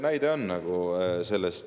Ja mina olen väga mures.